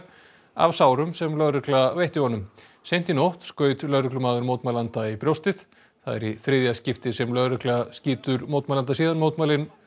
af sárum sem lögregla veitti honum seint í nótt skaut lögreglumaður mótmælanda í brjóstið það er í þriðja skipti sem lögregla skýtur mótmælanda síðan mótmælin